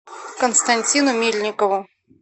константину мельникову